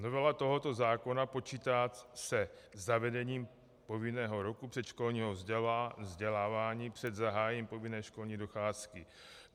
Novela tohoto zákona počítá se zavedením povinného roku předškolního vzdělávání před zahájením povinné školní docházky.